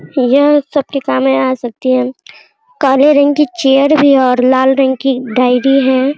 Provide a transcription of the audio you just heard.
यह सबके कामें आ सकती हैं काले रंग की चेयर भी और लाल रंग की डायरी हैं।